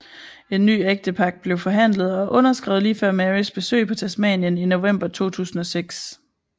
En ny ægtepagt blev forhandlet og underskrevet lige før Marys besøg på Tasmanien i november 2006